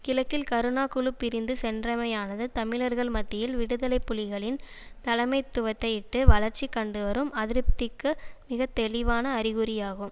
கிழக்கில் கருணா குழு பிரிந்து சென்றமையானது தமிழர்கள் மத்தியில் விடுதலை புலிகளின் தலைமைத்துவத்தையிட்டு வளர்ச்சி கண்டுவரும் அதிருப்திக்கு மிக தெளிவான அறிகுறியாகும்